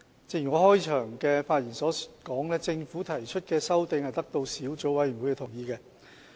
正如我在開場發言時所指，政府提出的修訂是得到小組委員會的同意。